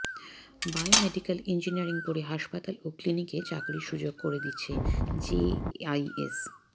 bio medical engineering পড়ে হাসপাতাল ও ক্লিনিকে চাকরির সুযোগ করে দিচ্ছে জেআইএস